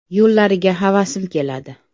Yo‘llariga havasim keladi.